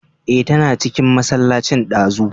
Eh, tana cikin masallacin ɗazu